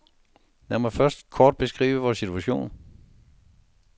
Lad mig først kort beskrive vor situation.